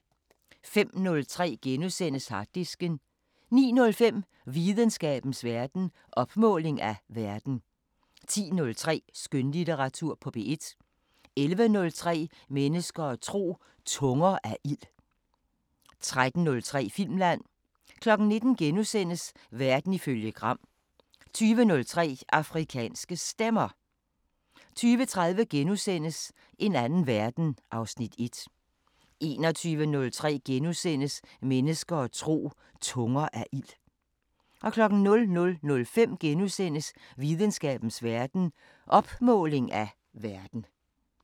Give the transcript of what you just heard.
05:03: Harddisken * 09:05: Videnskabens Verden: Opmåling af verden 10:03: Skønlitteratur på P1 11:03: Mennesker og tro: Tunger af ild 13:03: Filmland 19:00: Verden ifølge Gram * 20:03: Afrikanske Stemmer 20:30: En anden verden (Afs. 1)* 21:03: Mennesker og tro: Tunger af ild * 00:05: Videnskabens Verden: Opmåling af verden *